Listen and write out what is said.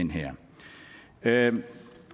her